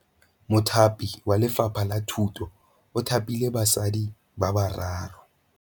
Mothapi wa Lefapha la Thutô o thapile basadi ba ba raro.